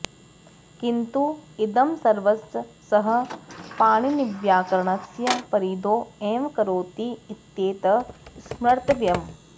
किन्तु इदं सर्वं सः पाणिनिव्याकरणस्य परिधौ एव करोति इत्येतत् स्मर्तव्यम्